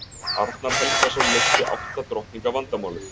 arnar helgason leysti átta drottninga vandamálið